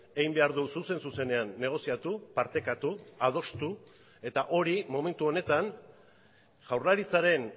egin behar du zuzen zuzenean negoziatu partekatu adostu eta hori momentu honetan jaurlaritzaren